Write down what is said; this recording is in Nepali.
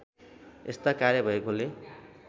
यस्ता कार्य भएकोले